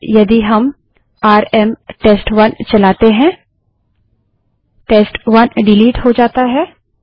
और यदि हम आरएम टेस्ट1 चलाते हैं टेस्ट1 डिलीट हो जाता है